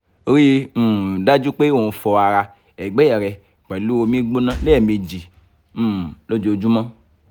rii um daju pe o n fọ ara-ẹgbẹ rẹ pẹlu omi gbona lẹmeji um lojoojumọ